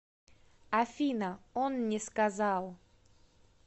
афина он не сказал